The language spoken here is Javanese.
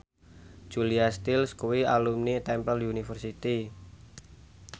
Julia Stiles kuwi alumni Temple University